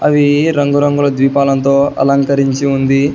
అవి రంగురంగుల దీపాలంతో అలంకరించి ఉంది.